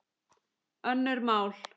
Önnur mál